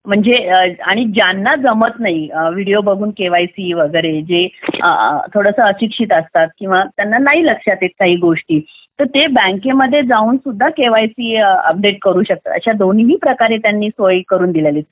म्हणजे आणि ज्यांना जमत नाही म्हणजे व्हिडिओ बघून जे थोडे अशिक्षित असतात किंवा त्यांना नाही लक्षात येत काही गोष्टी बँकेमध्ये जाऊन सुद्धा केवायसी अपडेट करू शकतात अशा दोन्ही प्रकारे त्यांनी सोय करून दिलेली